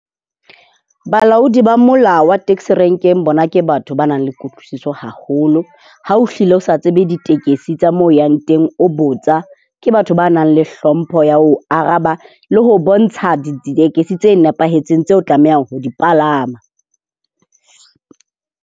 Balaodi ba mola wa taxi rank-eng bona ke batho ba nang le kutlwisiso haholo. Ha o hlile o sa tsebe ditekesi tsa mo o yang teng, o botsa, ke batho ba nang le hlompho ya ho o araba le ho o bontsha ditekesi tse nepahetseng tseo o tlamehang ho di palama.